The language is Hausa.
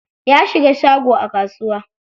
Ya shiga shago a kasuwa.